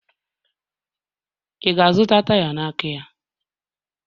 Ị ga-azụta taya n'aka ya?